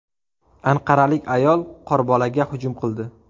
Anqaralik ayol qorbolaga hujum qildi.